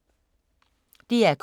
DR K